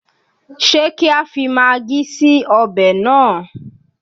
Ṣé kí á fi magí sí ọbẹ̀ náà?